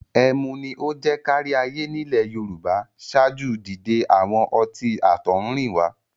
Ẹmu ni ó jẹ́ káríayé nílẹ̀ Yorùbá ṣáájú dídé àwọn ọtí àtọ̀húnrìnwá.